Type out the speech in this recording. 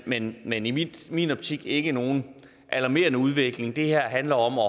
men men i min optik ikke nogen alarmerende udvikling det her handler om at